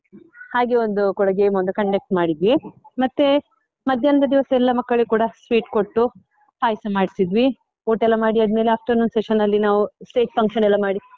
ಹಾಗೆ ಒಂದು ಕೂಡ game ಒಂದು conduct ಮಾಡಿದ್ವಿ, ಮತ್ತೆ ಮಧ್ಯಾಹ್ನದ ದಿವಸ ಎಲ್ಲ ಮಕ್ಕಳಿಗೂ ಕೂಡ sweet ಕೊಟ್ಟು ಪಾಯ್ಸ ಮಾಡಿಸಿದ್ವಿ, ಊಟಯೆಲ್ಲ ಮಾಡಿ ಆದ್ಮೇಲೆ afternoon session ಅಲ್ಲಿ ನಾವು stage function ಎಲ್ಲ ಮಾಡಿ.